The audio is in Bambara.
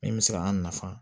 Min bɛ se ka an nafa